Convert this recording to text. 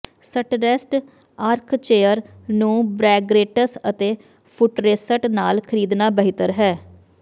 ਸਟਰੈਸਟ armchair ਨੂੰ ਬੈਗ੍ਰੇਟਸ ਅਤੇ ਫੁੱਟਰੇਸਟ ਨਾਲ ਖਰੀਦਣਾ ਬਿਹਤਰ ਹੈ